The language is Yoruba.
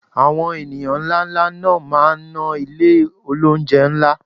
Àwọn ènìyàn ńláńlá náà máa ná ilé olóunjẹ ńlá